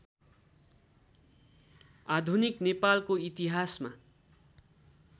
आधुनिक नेपालको इतिहासमा